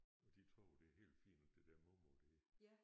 Og de tror jo det er helt fint det der mormor det